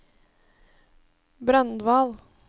Brandval